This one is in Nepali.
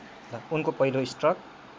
उनको पहिलो स्ट्रोक